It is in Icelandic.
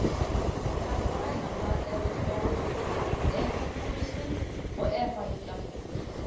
Orsökin hafi alls staðar verið sú sama, sjúkt alþjóðlegt fjármálakerfi.